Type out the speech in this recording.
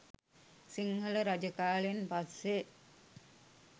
සිංහල රජ කාලෙන් පස්සෙ